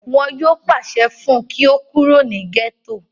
wọn yóò pàṣẹ fún un kí ó kó kúrò ní gẹ́tò